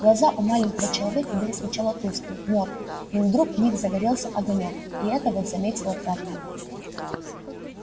глаза у маленького человека были сначала тусклые мёртвые но вдруг в них загорелся огонёк и вот это заметила травка